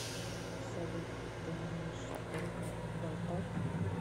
салют ты умеешь только болтать